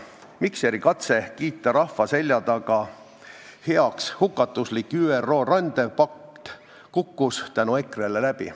Mikseri katse kiita rahva selja taga heaks hukatuslik ÜRO rändepakt kukkus tänu EKRE-le läbi.